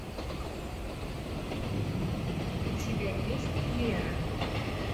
у тебя есть лера